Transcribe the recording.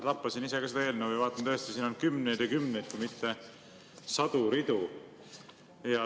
Lappasin ise ka seda eelnõu ja vaatan, tõesti, siin on kümneid ja kümneid, kui mitte sadu ridu.